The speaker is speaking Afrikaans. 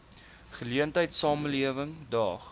geleentheid samelewing daag